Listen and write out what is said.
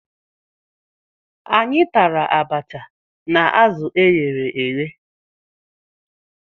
Anyị tara abacha na azụ e ghere eghe.